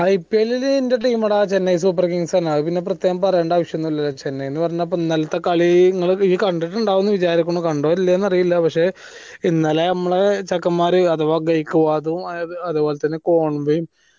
IPL ൽ എന്റെ team Chennai super kings ആണ് അത് പിന്നെ പ്രെത്യേകം പറയണ്ട ആവിശ്യമൊന്നുമില്ലല്ലോ ചെന്നൈ പിന്നെ ഇന്നലത്തെ കളി ഇങ്ങൾ ഈയ്യ് കണ്ടിട്ടിണ്ടാവും വിജാരിക്കണു കണ്ടോ ഇല്ല്യോ അറീല പക്ഷെ ഇന്നല നമ്മളാ ചെക്കന്മാർ അഥവാ ഗെയ്യ്കുവാദും അത് അത്പോലെ തന്നെ കോൺവയും